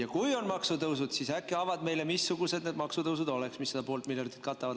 Ja kui on maksutõusud, siis äkki avad meile, missugused need maksutõusud oleks, mis seda poolt miljardit katavad.